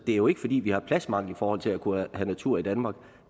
det er jo ikke fordi vi har pladsmangel i forhold til at kunne have natur i danmark